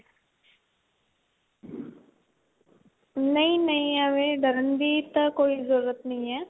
ਨਹੀਂ ਨਹੀਂ ਏਵੈ ਡਰਨ ਦੀ ਤਾਂ ਕੋਈ ਜਰੂਰਤ ਨਹੀਂ ਏ